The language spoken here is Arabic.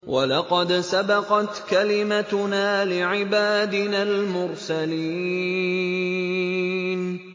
وَلَقَدْ سَبَقَتْ كَلِمَتُنَا لِعِبَادِنَا الْمُرْسَلِينَ